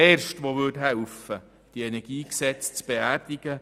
Ich wäre der Erste, der helfen würde, dieses Energiegesetz zu beerdigen.